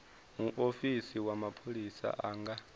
muofisi wa mapholisa a nga